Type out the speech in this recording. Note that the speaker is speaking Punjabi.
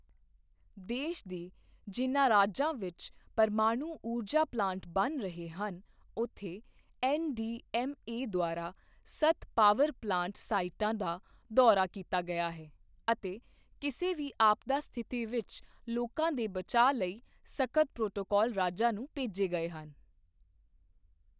ਦੇਸ਼ ਦੇ ਜਿਨ੍ਹਾਂ ਰਾਜਾਂ ਵਿੱਚ ਪਰਮਾਣੂ ਊਰਜਾ ਪਲਾਂਟ ਬਣ ਰਹੇ ਹਨ ਉੱਥੇ ਐੱਨਡੀਐੱਮਏ ਦੁਆਰਾ ਸੱਤ ਪਾਵਰ ਪਲਾਂਟ ਸਾਈਟਾਂ ਦਾ ਦੌਰਾ ਕੀਤਾ ਗਿਆ ਹੈ ਅਤੇ ਕਿਸੇ ਵੀ ਆਪਦਾ ਸਥਿਤੀ ਵਿੱਚ ਲੋਕਾਂ ਦੇ ਬਚਾਅ ਲਈ ਸਖ਼ਤ ਪ੍ਰੋਟੋਕੋਲ ਰਾਜਾਂ ਨੂੰ ਭੇਜੇ ਗਏ ਹਨ